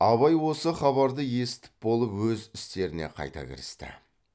абай осы хабарларды есітіп болып өз істеріне қайта кірісті